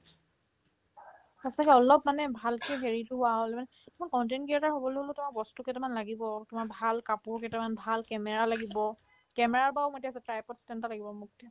সঁচাকে অলপ মানে ভালকে হেৰিতো হোৱা হ'লে মানে কিছুমান content creator হ'বলৈ হ'লেওতো আমাক বস্তু কেইটামান লাগিব তোমাৰ ভাল কাপোৰ কেইটামান, ভাল camera লাগিব camera ৰ পৰাও material আছে type ত standard লাগিব মোক